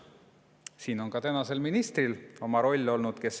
Siin on ka tänasel ministril oma roll olnud.